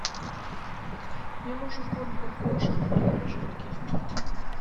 мне нужен корм для кошек пурина жидкий